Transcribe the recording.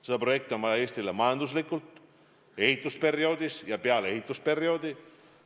Seda projekti on Eestile vaja majanduslikult, nii ehitusperioodil kui ka peale ehitusperioodi.